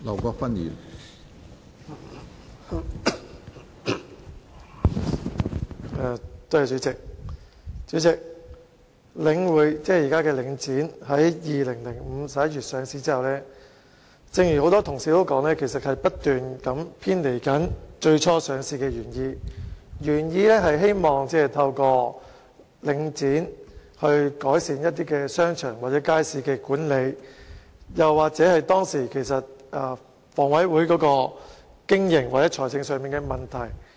主席，正如很多同事所說，領匯房地產投資信託基金 )2005 年11月上市之後，營運手法不斷偏離最初上市的原意。原意是透過上市改善商場或街市的管理，或是解決香港房屋委員會當時經營或財政上的問題。